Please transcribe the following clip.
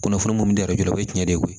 Kunnafoni minnu di yɛrɛ jɔrɔ o ye tiɲɛ de ye o